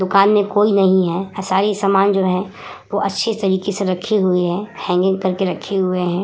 दुकान में कोई नहीं है पर सारी सामान जो है वो अच्छी तरीके से रखी हुए है हैंगिंग करके रखे हुए हैं।